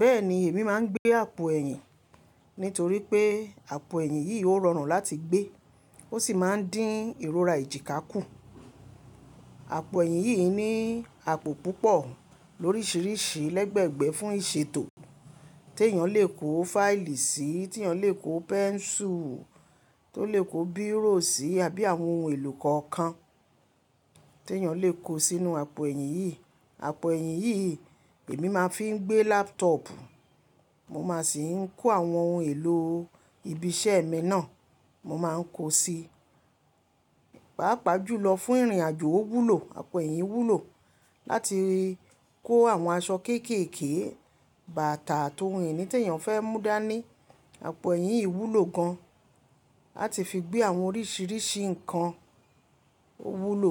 Bẹ́ẹ̀ni èmi máa ń gbé àpò ẹ̀yìn nítorí pé àpò ẹ̀yìn yìí ò rọrùn láti gbé, ó sì máa ń dín ìrora èjìká kù. Àpò ẹ̀yìn yìí ní àpò púpọ̀ lóríṣìíríṣìí lẹ́gbẹ̀gbẹ́ fún ìṣètò tí èèyàn lè kó fáìlì sí, tí èèyàn lè kó pẹ́ńsù, tó lè kó bírò sí àbí àwọn ohun èlò kọ̀ọ̀kan tí èèyàn lè kó sínú àpò ẹ̀yìn yìí. Àpò ẹ̀yìn yìí èmi máa ń fi gbé lápútọọ̀pù, mo máa sì ń kó àwọn ohun èlò ibi iṣẹ́ mi náà mo máa ń kó sí. Páàpáà jùlọ fún ìrìnàjò òwúlò àpò ẹ̀yìn wúlò láti kó àwọn aṣọ kéékèèké, bàtà àti ohun ìní tí èèyàn fẹ́ mú dání. Àpò ẹ̀yìn wúlò gan láti fi gbé àwọn oríṣìíríṣìí ǹkan òwúlò.